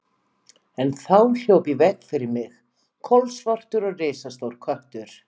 En þá hljóp í veg fyrir mig kolsvartur og risastór köttur.